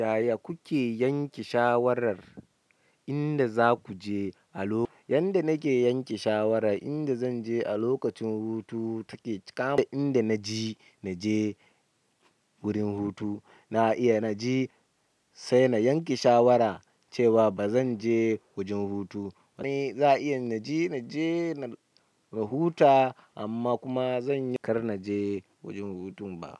Yaya kuke yanke shawarar inda za ku je a lok-- inda nake yanke shawara inda zan je a lokacin hutu take kama. Inda na ji na je wurin hutu na iya na je sai na yanke shawara cewa ba zan je wajen hutu. Wani za iya na ji, na je na huta amma kuma zan yanka na je wajen hutun ba.